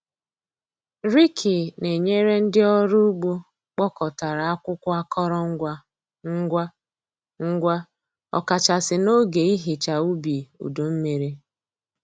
Riki na-enyere ndị ọrụ ugbo kpọkọtara akwụkwọ akọrọ ngwa ngwa, ngwa, ọkachasị n'oge ihicha ubi udu mmiri.